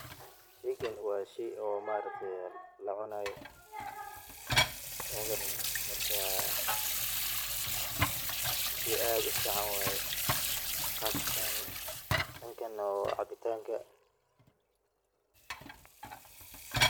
Sheeygan wa sheey oo maaragtay, marka sheey aad u fican waye qaasatan dangana cabitanga.